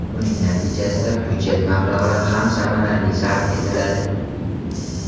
Buning natijasida budjet mablag‘lari ham samarali sarf etiladi”.